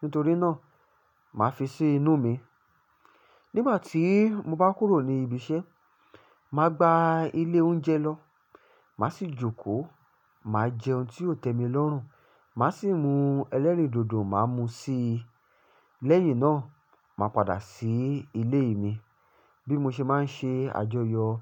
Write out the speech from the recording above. nítorí náà màá fi ṣe inú mi. Nígbà tí mo bá kúrò ní ibi iṣẹ́, màá gba ilé oúnjẹ lọ, màá sì jókòó, màá jẹ ohun tí yóò tẹ́ mi lọ́rùn, màá sì mú ẹlẹ́rìndòdò, màá mú u sí lẹ́yìn náà, màá padà sí ilé mi. Bí mo ṣe máa ń ṣe àjọyọ̀ ọjọ́